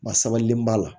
Ba sabalen b'a la